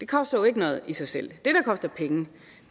koster jo ikke noget i sig selv